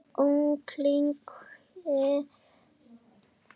Umlukti þau öll.